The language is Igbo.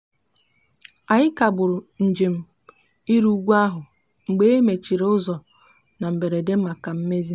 anyị kagburu njem iri ugwu ahụ mgbe e mechiri ụzọ na mberede maka mmezi.